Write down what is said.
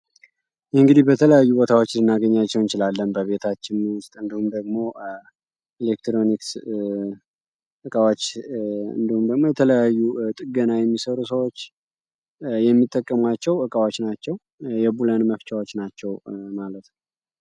እንግዲህ ቀተለያዩ ቦታወች ልናገኛቸው እንችላለን ቤታችን ውስጥ የኤሌክትሮኒክስ እቃዎች እንዲሁም ደግሞ የተለያዩ ጥገና የሚሰሩ ሰዎች የሚጠቀሟቸው እቃዎች ናቸው። የቡለን መፍቻወች ናቸው ማለት ነው።